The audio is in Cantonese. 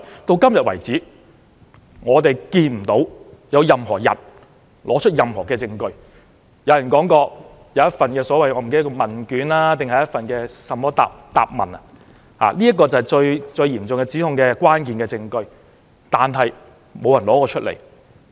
到目前為止，我們看不到任何人拿出任何證據，雖然有人說有一份問卷或答問——那是這次嚴重指控的一個關鍵證據——但沒有人拿出來。